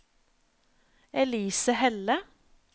Elise Helle